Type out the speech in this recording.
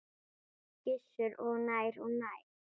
Gissur: Og nær og nær?